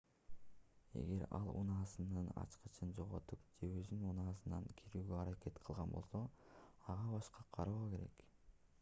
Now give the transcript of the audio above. эгер ал унаасынын ачкычын жоготуп же өзүнүн унаасына кирүүгө аракет кылган болсо ага башкача кароо керек